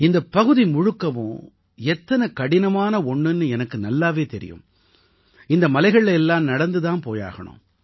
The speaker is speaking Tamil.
இந்தப் பகுதி முழுக்கவும் எத்தனை கடினமான ஒண்ணுன்னு எனக்கு நல்லாவே தெரியும் இந்த மலைகள்ல எல்லாம் நடந்து தான் போயாகணும்